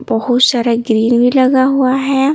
बहुत सारा ग्रील भी लगा हुआ है।